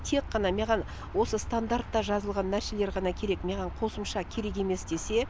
тек қана мяған осы стандартта жазылған нәрселер ғана керек мяған қосымша керек емес десе